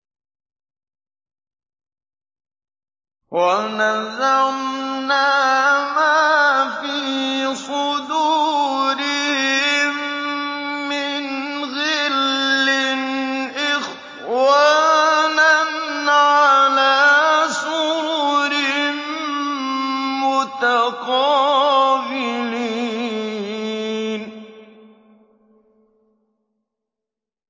وَنَزَعْنَا مَا فِي صُدُورِهِم مِّنْ غِلٍّ إِخْوَانًا عَلَىٰ سُرُرٍ مُّتَقَابِلِينَ